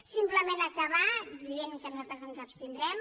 simplement acabar dient que nosaltres ens hi abstindrem